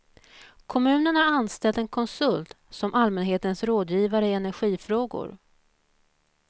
Kommunen har anställt en konsult som allmänhetens rådgivare i energifrågor.